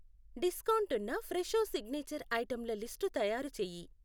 Discount ఉన్న Fresho signature ఐటెంల list తయారుచేయి.